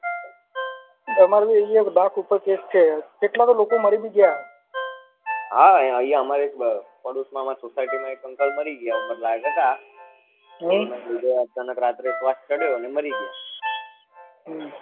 હા અહિયાં અમારે પડોસ માં અમ્રારે એક society માં એક uncle મરી ગયા ઉમર લાયક હતા હમ અચાનક રાતે શ્વાસ ચડ્યો અને મરી ગયા